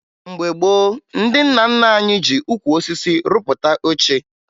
Mgbe gboo, ndị nna nna anyị ji ukwu osisi rupụta oche